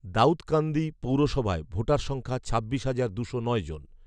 দাউদকান্দি পৌরসভায় ভোটার সংখ্যা ছাব্বিশ হাজার দুশো নয় জন